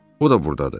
O da burdadır.